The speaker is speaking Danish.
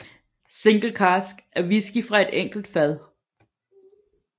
Single cask er whisky fra et enkelt fad